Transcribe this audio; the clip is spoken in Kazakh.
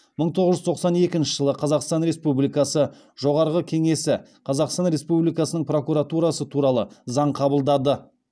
мың тоғыз жүз тоқсан екінші жылы қазақстан республикасы жоғарғы кеңесі қазақстан республикасының прокуратурасы туралы заң қабылдады